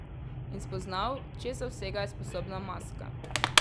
In spoznal, česa vsega je sposobna maska.